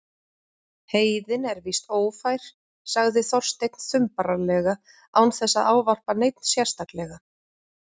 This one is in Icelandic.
Heiðin er víst ófær- sagði Þorsteinn þumbaralega án þess að ávarpa neinn sérstaklega.